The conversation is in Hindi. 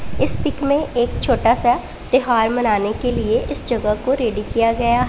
इस पिक में एक छोटा सा त्यौहार मनाने के लिए इस जगह को रेडी किया गया--